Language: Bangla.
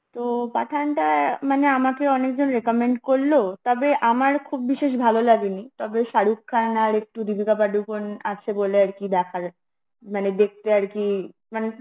তো পাঠান টা মানে আমাকে অনেকজন recommend করলো তবে আমার খুব বিশেষ ভালো লাগেনি, তবে শাহরুখ খান, আর একটু দীপিকা পারুকনে আছে বলে আর কি দেখার, মানে দেখতে আরকি মানে